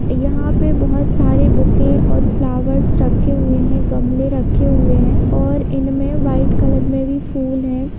यहा पे बहुत सारे बुके और फ्लावर्स रखे हुए है गमले राखे हुए हैं और इन में वाइट कलर के फुल है।